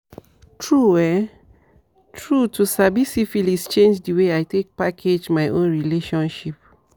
true um true to sabi syphilis change the way i take package my own relationship